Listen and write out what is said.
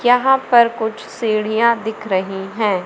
यहां पर कुछ सीढ़ियां दिख रही हैं।